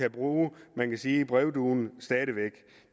at bruge man kan sige brevduen stadig væk